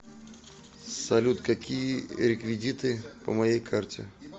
салют какие реквидиты по моей карте